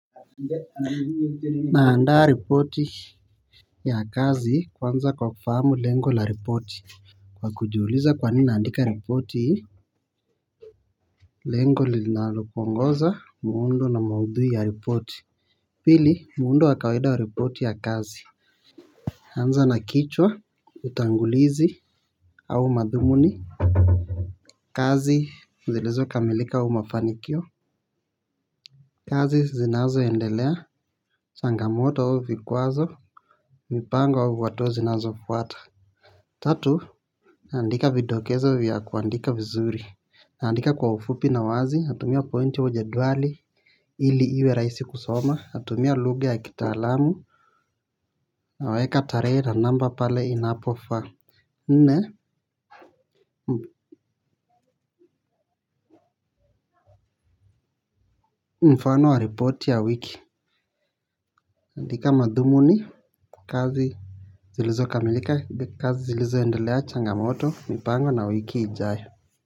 Naandaa ripoti ya kazi kwanza kwa kufahamu lengo la ripoti. Kwa kujiuliza kwa nini naandika ripoti hii. Lengo linalopongeza muundo na maudhui ya ripoti. Pili muundo wa kawaida wa ripoti ya kazi. Anza na kichwa utangulizi au madhumuni. Kazi zilizokamilika mafanikio. Kazi zinazoendelea changamoto au vikwazo. Mipango au hatua zinazofuata. Tatu, naandika videkezo vya kuandika vizuri. Naandika kwa ufupi na wazi, natumia pointi au jedwali. Ili iwe raisi kusoma, natumia lugha ya kitaalamu. Naweka tarehe na namba pale inapofaa. Nne, mfano wa report ya wiki andika madhumuni kazi zilizokamilika kazi zilizokendelea changamoto mipango na wiki ijao.